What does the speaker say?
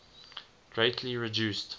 greatly reduced